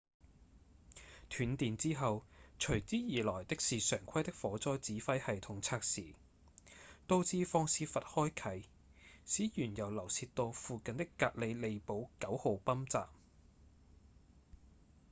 斷電之後隨之而來的是常規的火災指揮系統測試導致放洩閥開啟使原油流洩到附近的格里利堡9號泵站